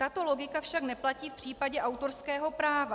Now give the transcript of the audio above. Tato logika však neplatí v případě autorského práva.